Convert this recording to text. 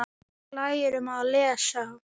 Við lærum að lesa.